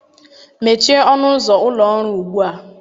mechie ọnụ ụzọ ụlọ ọrụ ugbu a!